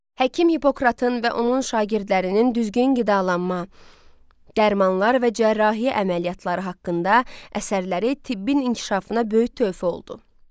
Həkim Hipokratın və onun şagirdlərinin düzgün qidalanma, dərmanlar və cərrahiyyə əməliyyatları haqqında əsərləri tibbin inkişafına böyük töhfə oldu.